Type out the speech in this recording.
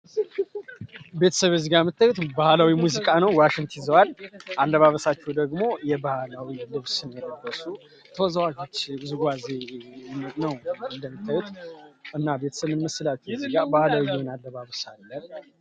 ቤተሰብ እዝጋ እምታዩት ባህላዊ ሙዚቃ ነው። ዋሽንቲ ዘዋል አለባበሳቸው ደግሞ የባህላዊ ልብስን የለበሱ ተወዘዋች ውዝዋዜ ነው። እንደንተውት እና ቤተስምመስላቱ እዝጋ ባህላዊ የውዝዋዜ አለባብሳለን ነው።